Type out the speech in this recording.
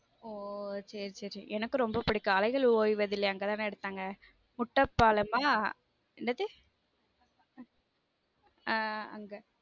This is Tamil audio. ஓஹ சரி சரி எனக்கும் ரொம்ப புடிக்கும் அலைகள் ஓய்வதில்லை அங்க தான் எடுத்தாங்க குட்டப்பாலமா என்னது ஹம் அங்க.